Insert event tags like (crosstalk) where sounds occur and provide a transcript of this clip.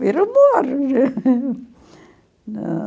Vira o morro. (laughs) Na...